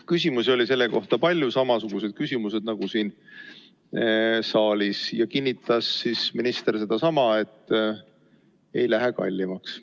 Küsimusi oli selle kohta palju, küsimused olid samasugused nagu siin saalis, ja minister kinnitas sedasama, et ei lähe kallimaks.